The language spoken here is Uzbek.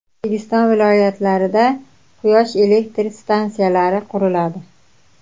O‘zbekiston viloyatlarida quyosh elektr stansiyalari quriladi.